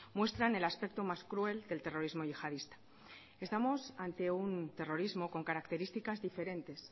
muestran el aspecto más cruel del terrorismo yihadista estamos ante un terrorismo con características diferentes